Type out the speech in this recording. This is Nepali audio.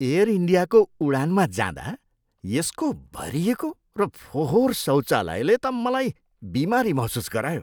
एयर इन्डियाको उडानमा जाँदा यसको भरिएको र फोहोर शौचालयले त मलाई बिमारी महसुस गरायो।